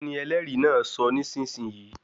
Kíni ẹlẹ́rìí náà sọ nísisìnyí?